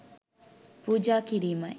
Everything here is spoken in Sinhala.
පූජා කිරීමයි.